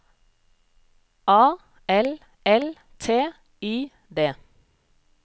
A L L T I D